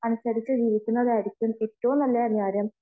അതനുസരിച്ചു ജീവിക്കുന്നതായിരിക്കും ഏറ്റവും നല്ല കാര്യം